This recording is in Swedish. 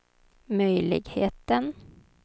möjligheten